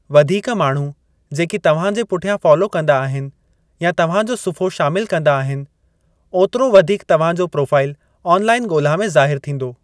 वधीक माण्हू जेकी तव्हां जे पुठियां फॉलो कंदा आहिनि या तव्हां जो सुफ़्हो शामिलु कंदा आहिनि, ओतिरो वधीक तव्हां जो प्रोफ़ाइल आन लाइन ॻोल्हा में ज़ाहिरु थींदो।